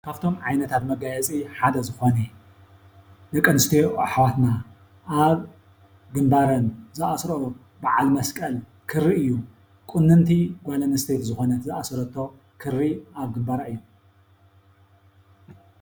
ካፍቶም ዓይነታት መጋየፂ ሓደ ዝኾነ ደቂ ኣነስትዮ ኣሕዋትና ኣብ ግንባረን ዝኣስረኦ ባዓል መስቀል ክሪ እዩ። ቁንንቲ ጓል ኣነስተይቲ ዝኾነት ዛሰረቶ ክሪ ኣብ ግንባራ እዩ።